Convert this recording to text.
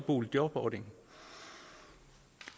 boligjobordningen